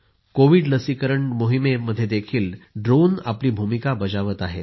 Covid लसीकरण मोहिमेमध्ये ड्रोनही आपली भूमिका बजावत आहेत